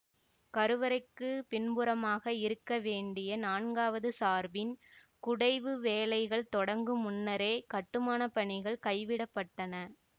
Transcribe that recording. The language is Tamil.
கருவறைக்குப் பின்புறமாக இருக்கவேண்டிய நான்காவது சார்பின் குடைவு வேலைகள் தொடங்கு முன்னரே கட்டுமான பணிகள் கைவிடப்பட்டுவிட்டன